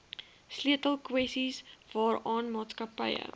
sleutelkwessies waaraan maatskappye